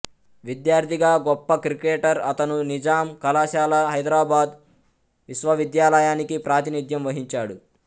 విద్యార్థిగా గొప్ప క్రికెటర్ అతను నిజాం కళాశాల హైదరాబాద్ విశ్వవిద్యాలయానికి ప్రాతినిధ్యం వహించాడు